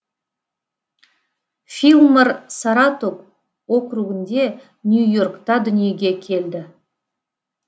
филлмор саратог округінде нью йоркта дүниеге келді